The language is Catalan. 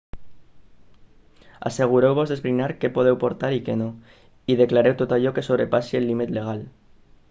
assegureu-vos d'esbrinar què podeu portar i què no i declareu tot allò que sobrepassi el límit legal